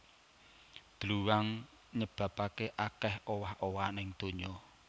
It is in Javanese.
Dluwang nyebabaké akèh owah owahan ing donya